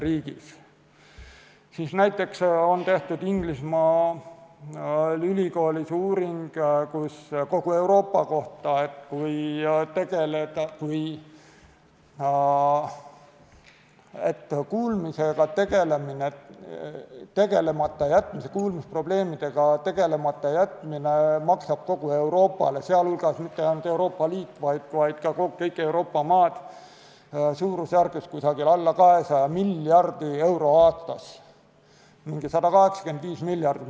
Inglismaal on ülikoolis tehtud uuring kogu Euroopa kohta, mis näitab, et kuulmisprobleemidega tegelemata jätmine maksab kogu Euroopale – mitte ainult Euroopa Liidule, vaid kõigile Euroopa maadele – suurusjärgus alla 200 miljardi euro aastas, umbes 185 miljardit.